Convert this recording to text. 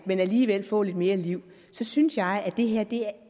men alligevel få lidt mere liv så synes jeg at det her er